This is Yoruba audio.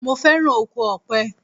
Mo féràn oko Ọ̀pẹ.